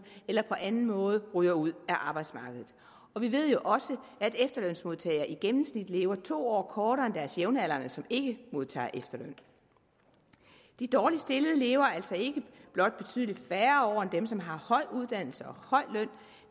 eller på anden måde ryger ud af arbejdsmarkedet vi ved også at efterlønsmodtagere i gennemsnit lever to år kortere end deres jævnaldrende som ikke modtager efterløn de dårligt stillede lever altså ikke blot betydelig færre år end dem som har høje uddannelser og høj løn